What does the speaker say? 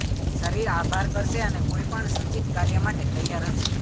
શરીર આભાર કરશે અને કોઈ પણ સૂચિત કાર્ય માટે તૈયાર હશે